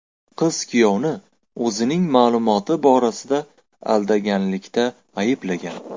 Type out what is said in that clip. Qiz kuyovni o‘zining ma’lumoti borasida aldaganlikda ayblagan.